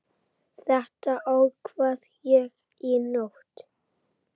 Þetta ákvað ég í nótt.